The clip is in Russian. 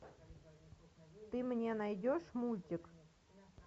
ты мне найдешь мультик